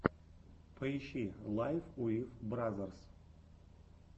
поищи лайф уив бразерс